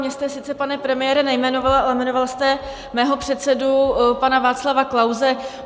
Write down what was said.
Mě jste sice, pane premiére, nejmenoval, ale jmenoval jste mého předsedu pana Václava Klause.